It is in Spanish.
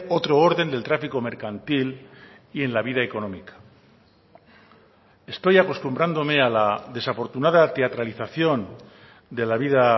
otro orden del tráfico mercantil y en la vida económica estoy acostumbrándome a la desafortunada teatralización de la vida